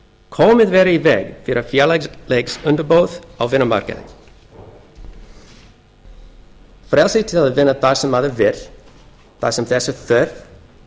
komið verði í veg fyrir félagsleg undirboð á vinnumarkaði frelsi til að vinna þar sem maður vill þar sem þess er þörf